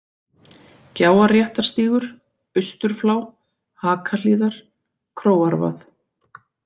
Gjáarréttarstígur, Austurflá, Hakahlíðar, Króarvað